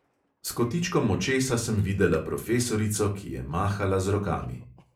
S kotičkom očesa sem videla profesorico, ki je mahala z rokami.